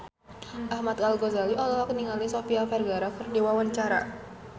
Ahmad Al-Ghazali olohok ningali Sofia Vergara keur diwawancara